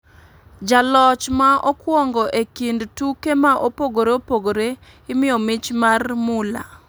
Ja loch ma okwongo e kind tuke ma opogore opogore imiyo mich mar mula,